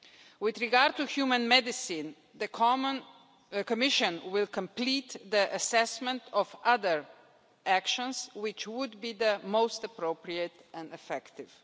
With regard to human medicine, the Commission will complete the assessment of other actions which would be the most appropriate and effective.